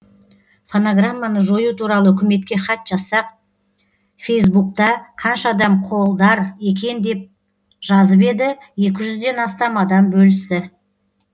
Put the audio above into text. фонограмманы жою туралы үкіметке хат жазсақ фейсбукта қанша адам қолдар екен деп жазып еді екі жүзден астам адам бөлісті